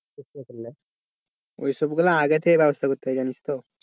ওই সবগুলো আগে থেকেই ব্যবস্থা করতে হয় জানিস তো?